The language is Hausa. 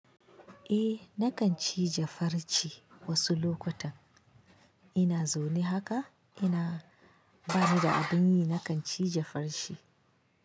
Eh nakan cija farche wasu lokutan. Ina zaune haka ina bani da abin yi nakan ci jafarche.